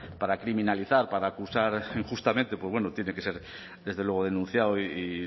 pues para criminalizar para acusar injustamente pues bueno tiene que ser desde luego denunciado y